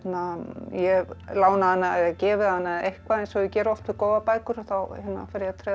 ég hef lánað hana eða gefið hana eða eitthvað eins og ég geri oft með góðar bækur þá fer ég að